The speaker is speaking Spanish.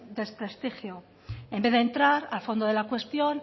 desprestigio en vez de entrar al fondo de la cuestión